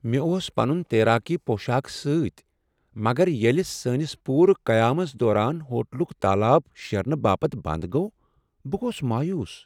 مےٚ اوس پنن تیراکی پوشاک سۭتۍ مگر ییٚلہ سٲنس پوٗرٕ قیامس دوران ہوٹلک تالاب شیرنہٕ باپت بند گوٚو، بہٕ گوس مایوس۔